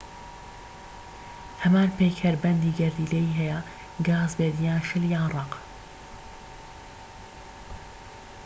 هەمان پەیکەربەندی گەردیلەیی هەیە گاز بێت یان شل یان ڕەق